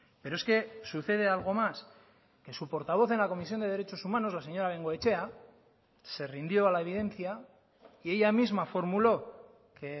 pero es que sucede algo más que su portavoz en la comisión de derechos humanos la señora bengoechea se rindió a la evidencia y ella misma formuló que